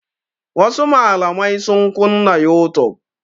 Wasu malamai sun kunna youtube.